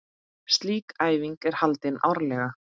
Slík æfing er haldin árlega.